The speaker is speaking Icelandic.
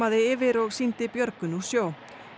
yfir og sýndi björgun úr sjó